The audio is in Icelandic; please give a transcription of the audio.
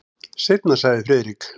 Seinna sagði Friðrik.